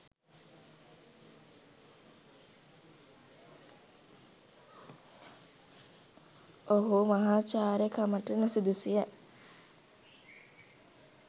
ඔහු මහාචාර්යකමට නුසුදුසුය.